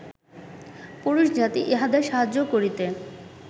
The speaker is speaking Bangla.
পুরুষজাতি ইহাদের সাহায্য করিতে